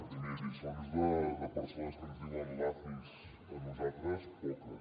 primer lliçons de persones que ens diuen lacis a nosaltres poques